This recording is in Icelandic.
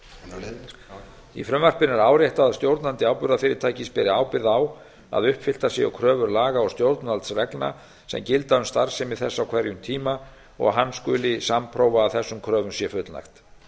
verið afhentar í frumvarpinu er áréttað að stjórnandi áburðarfyrirtækis beri ábyrgð að uppfylltar séu kröfur laga og stjórnvaldsreglna sem gilda um starfsemi þess á hverjum tíma og hann skuli sannprófa að þessum kröfum sé fullnægt